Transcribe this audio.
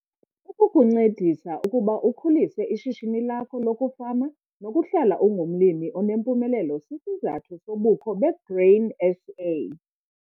Ukukuncedisa ukuba ukhulise ishishini lakho lokufama nokuhlala ungumlimi onempumelelo sisizathu sobukho beGrain SA.